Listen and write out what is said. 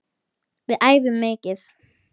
Við æfum mikið.